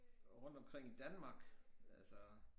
Rundtomkring i Danmark altså